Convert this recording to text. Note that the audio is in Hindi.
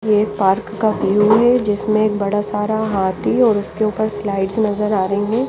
ये एक पार्क व्यू है जिसमे बड़ा सारा हाथी है जिसके ऊपर पर स्लाइड्स नज़र आरही है।